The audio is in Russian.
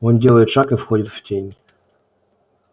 он делает шаг и входит в тень